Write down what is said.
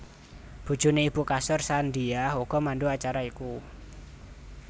Bojoné ibu Kasur Sandiah uga mandhu acara iku